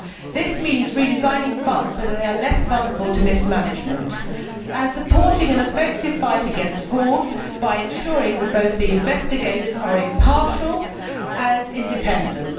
This means redesigning funds so that they are less vulnerable to mismanagement and supporting an effective fight against fraud by ensuring that the investigators are both impartial and independent.